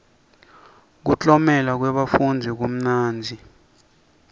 kuklomela kwebafundzi kumnanzi